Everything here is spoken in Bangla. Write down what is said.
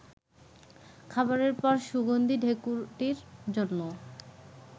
খাবারের পর সুগন্ধী ঢেঁকুরটির জন্যও